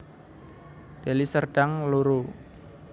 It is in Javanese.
Deli Serdang loro